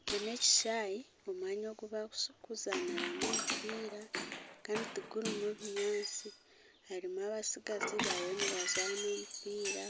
Eki n'ekishayi omwanya ogu bakuzaaniramu omumpiira kandi tigurimu binyaatsi, harimu abatsigazi bariyo nibazaana omumpiira